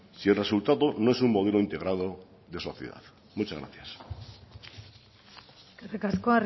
si el resultado no es un modelo integrado de sociedad muchas gracias eskerrik asko